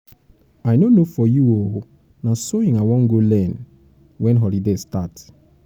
i no know for you oo na sewing i wan go learn wen holiday start